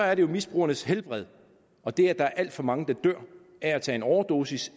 er det jo misbrugernes helbred og det at der er alt for mange der dør af at tage en overdosis